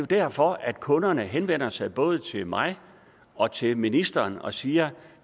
derfor at kunderne i yderområderne henvender sig både til mig og til ministeren og siger